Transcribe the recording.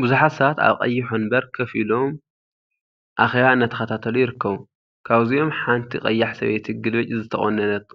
ቡዙሓት ሰባት አብ ቀይሕ ወንበር ኮፈ ኢሎም አኬባ እናተከታተሉ ይርከቡ፡፡ ካብዚኦም ሓንቲ ቀያሕ ሰበይቲ ግልብጭ ዝተቆነነት